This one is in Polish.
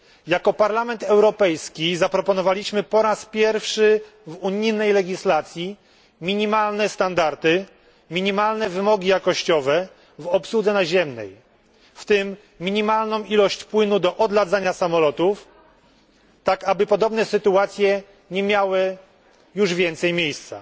Jako Parlament Europejski zaproponowaliśmy po raz pierwszy w unijnej legislacji minimalne standardy, minimalne wymogi jakościowe w obsłudze naziemnej, w tym minimalną ilość płynu do odladzania samolotów, tak aby podobne sytuacje nie miały już więcej miejsca.